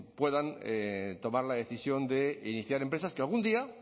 puedan tomar la decisión de iniciar empresas que algún día